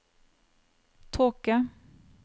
tåke